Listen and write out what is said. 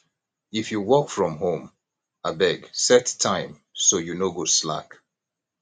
if you work from home abeg set time so you no go slack